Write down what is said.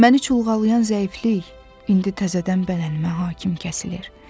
Məni çulğalayan zəiflik indi təzədən bədənimə hakim kəsilir.